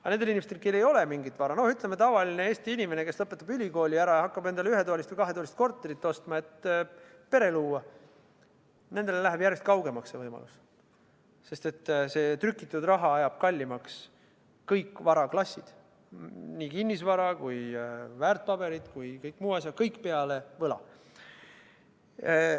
Aga nendele inimestele, kellel ei ole mingit vara, näiteks tavaline Eesti inimene, kes lõpetab ülikooli ja hakkab ühe- või kahetoalist korterit ostma, et pere luua, jääb see võimalus järjest kaugemaks, sest trükitud raha ajab kallimaks kõik varaklassid, nii kinnisvara, väärtpaberid kui ka kõik muu, st kõik peale võla.